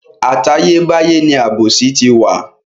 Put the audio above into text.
Àtayé báyé ni àbòsí ti wà.